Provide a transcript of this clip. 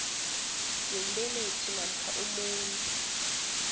yombelethi namkha umondli